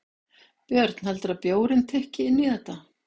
Björn: Heldurðu að bjórinn tikki inn í þetta?